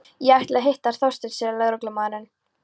Ég ætlaði að hitta Þorstein sagði lögreglumaðurinn.